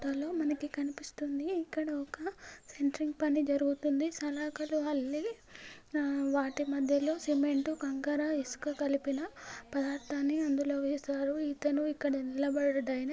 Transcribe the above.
మనకు కనిపిస్తుంది ఇక్కడ ఒక సెంట్రింగ్ పని జరుగుతుంది సలకాలు అల్లి వాటి మధ్యలో సిమెంట్ కగ్కర ఇసుక కలిపినా పదార్ధాన్ని అందులో వేసారు ఇతను ఇక్కడ నిలబడుడ ఆయన.